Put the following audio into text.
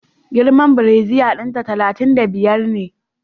Girman brasier dinta talatin da biyar ne